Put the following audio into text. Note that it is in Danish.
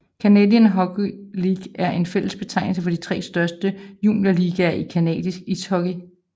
Canadian Hockey League er en fælles betegnelse for de tre største juniorligaer i canadisk ishockey